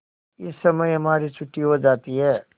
इस समय हमारी छुट्टी हो जाती है